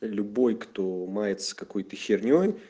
любой кто мается какой-то хернёй